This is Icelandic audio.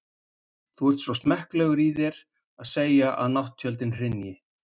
Þú ert svo smekklegur í þér að segja, að nátttjöldin hrynji.